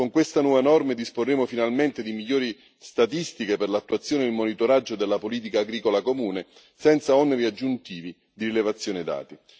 Con queste nuove norme disporremo finalmente di migliori statistiche per l'attuazione e il monitoraggio della politica agricola comune senza oneri aggiuntivi di rilevazione dati.